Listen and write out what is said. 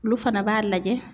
Olu fana b'a lajɛ.